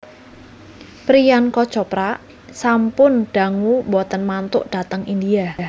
Priyanka Chopra sampun dangu mboten mantuk dhateng India